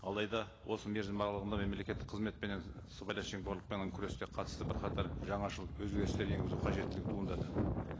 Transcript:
алайда осы мерзім аралығында мемлекеттік қызмет пенен сыбайлас жемқорлықпен күреске қатысты бірқатар жаңашылық өзгерістер енгізу қажеттілігі туындады